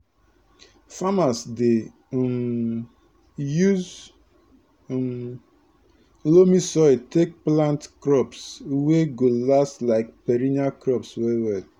farmers dey um use um loamy soil take plant crops wey go last like perennial crops well well